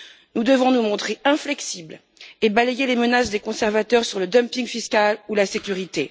Nous devons nous montrer inflexibles et balayer les menaces des conservateurs sur le dumping fiscal ou la sécurité.